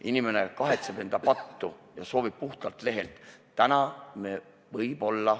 Inimene kahetseb pattu ja soovib puhtalt lehelt alustada.